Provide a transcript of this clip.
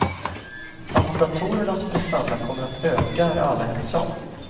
Att datorernas prestanda kommer att öka är alla ense om.